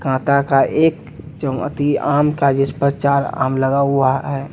काका का एक आम का जिसपर चार आम लगा हुआ है।